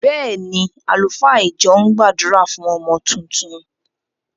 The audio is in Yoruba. Bẹ́ẹ̀ ni, àlùfáà ìjọ ń gbàdúrà fún ọmọ tuntun.